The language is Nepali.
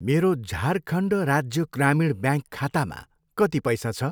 मेरो झारखण्ड राज्य ग्रामीण ब्याङ्क खातामा कति पैसा छ?